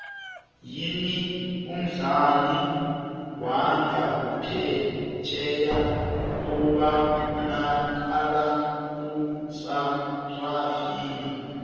yini umdlali wangaphefjheya obanakala kusarafina